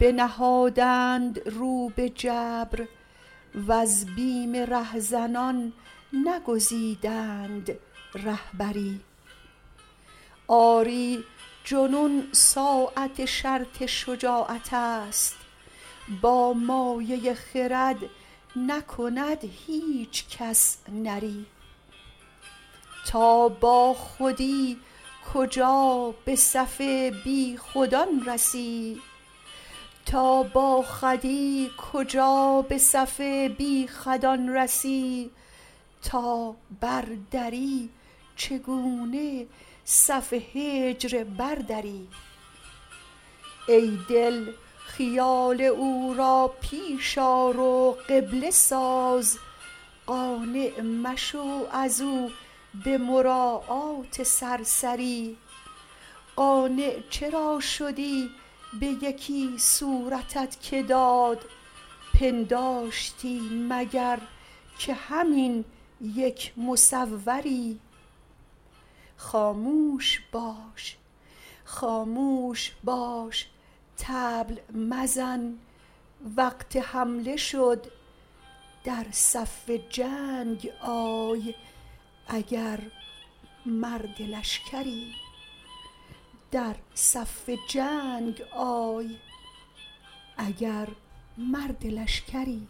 بنهادند رو به جبر وز بیم رهزنان نگزیدند رهبری آری جنون ساعه شرط شجاعت است با مایه خرد نکند هیچ کس نری تا باخودی کجا به صف بیخودان رسی تا بر دری چگونه صف هجر بردری ای دل خیال او را پیش آر و قبله ساز قانع مشو از او به مراعات سرسری قانع چرا شدی به یکی صورتت که داد پنداشتی مگر که همین یک مصوری خاموش باش طبل مزن وقت حمله شد در صف جنگ آی اگر مرد لشکری